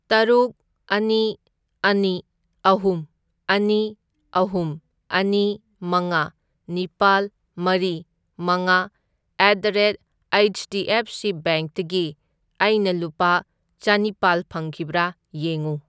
ꯇꯔꯨꯛ, ꯑꯅꯤ, ꯑꯅꯤ, ꯑꯍꯨꯝ, ꯑꯅꯤ, ꯑꯍꯨꯝ, ꯑꯅꯤ, ꯃꯉꯥ, ꯅꯤꯄꯥꯜ, ꯃꯔꯤ, ꯃꯉꯥ, at the rate H D F C ꯕꯦꯡꯛꯇꯒꯤ ꯑꯩꯅ ꯂꯨꯄꯥ ꯆꯅꯤꯄꯥꯜ ꯐꯪꯈꯤꯕ꯭ꯔꯥ ꯌꯦꯡꯉꯨ꯫